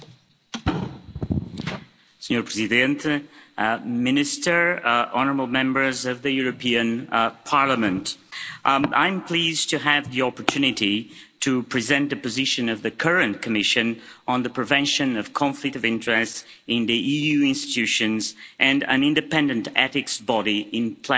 Mr President, Minister, honourable Members of the European Parliament, I'm pleased to have the opportunity to present the position of the current Commission on the prevention of conflict of interests in the EU institutions and an independent ethics body in plenary today.